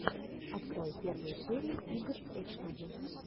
открой первую серию игр эчтуди